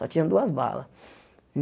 Só tinha duas balas.